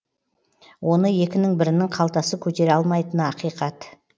оны екінің бірінің қалтасы көтере алмайтыны ақиқат